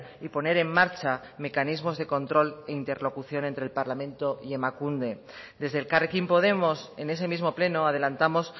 y poner en marcha mecanismos de control e interlocución entre el parlamento y emakunde desde elkarrekin podemos en ese mismo pleno adelantamos